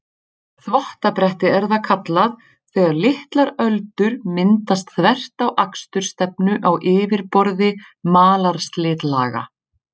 Þvottabretti er það kallað, þegar litlar öldur myndast þvert á akstursstefnu á yfirborði malarslitlaga.